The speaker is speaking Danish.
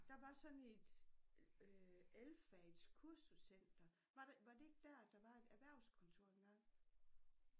Der var sådan et øh elfagets kursuscenter var det var det ikke dér der var et erhvervskontor engang?